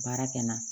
Baara kɛ n na